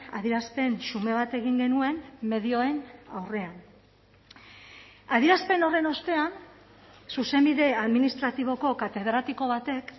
adierazpen xume bat egin genuen medioen aurrean adierazpen horren ostean zuzenbide administratiboko katedratiko batek